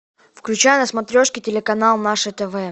включай на смотрешке телеканал наше тв